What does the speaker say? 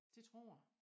Det tror jeg